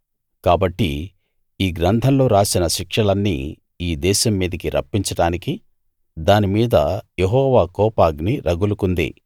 కాబట్టి ఈ గ్రంథంలో రాసిన శిక్షలన్నీ ఈ దేశం మీదికి రప్పించడానికి దాని మీద యెహోవా కోపాగ్ని రగులుకుంది